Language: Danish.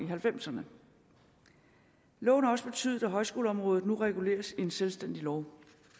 halvfemserne loven har også betydet at højskoleområdet nu reguleres i en selvstændig lov